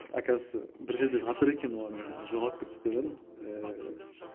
оказывается бір жерде жатыр екен оларды мен жоғалып кетті деп ойладым ііі